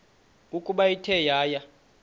ukuba ithe yaya